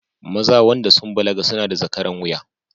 Maza wanda sun balaga suna da zakaran wuya